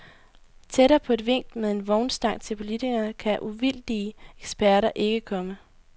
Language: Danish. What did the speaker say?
Tættere på et vink med en vognstang til politikerne kan uvildige eksperter ikke komme.